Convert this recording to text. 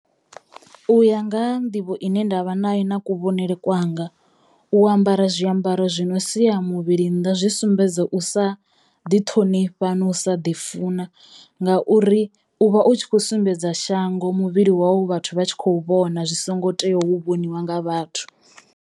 U ya nga ha nḓivho ine ndavha nayo na kuvhonele kwanga u ambara zwiambaro zwi no siya muvhili nnḓa zwi sumbedza u sa ḓi ṱhonifha no u sa ḓi funa ngauri u vha u tshi kho sumbedza shango muvhili wau vhathu vha tshi khou vhona zwi songo teyo u vhoniwa nga vhathu.